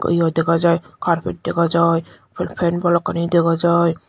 iyo dega jiy carpet dega jiy fan bhalokkani dega jiy.